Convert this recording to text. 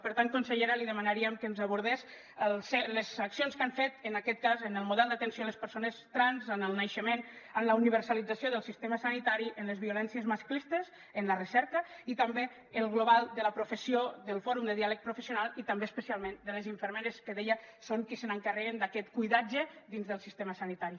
per tant consellera li demanaríem que ens abordés les accions que han fet en aquest cas en el model d’atenció a les persones trans en el naixement en la universalització del sistema sanitari en les violències masclistes en la recerca i també en el global de la professió del fòrum de diàleg professional i també especialment de les infermeres que deia que són qui s’encarreguen d’aquest cuidatge dins del sistema sanitari